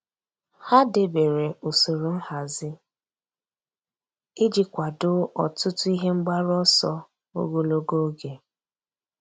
Há dèbèrè usoro nhazi iji kwàdòọ́ ọtụ́tụ́ ihe mgbaru ọsọ ogologo oge.